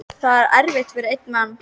Það er erfitt fyrir einn mann.